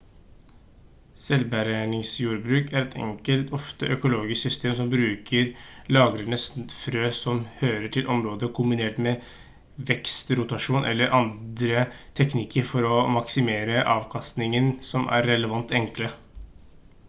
selvbergingsjordbruk er et enkelt ofte økologisk system som bruker lagrede frø som hører til området kombinert med vekstrotasjon eller andre teknikker for å maksimere avkastningen som er relativt enkle